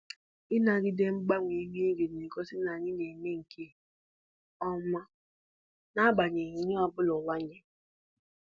Ịnagide mgbanwe ihu igwe na-egosi n'anyị na-eme nke ọma n'agbanyeghị ihe ọbụla ụwa nyere